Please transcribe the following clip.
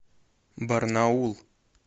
барнаул